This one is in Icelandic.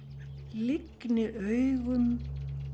lygni augum